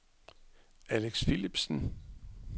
Alex Philipsen